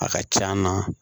A ka c'an na